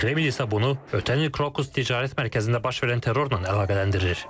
Kreml isə bunu ötən il Krookus Ticarət Mərkəzində baş verən terrorla əlaqələndirir.